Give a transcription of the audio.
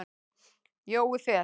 Jói Fel.